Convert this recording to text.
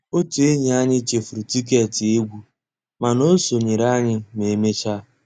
Ótú ényí ànyị́ chèfùrú tìkétì égwu mànà ó sonyééré ànyị́ mà emeéchaa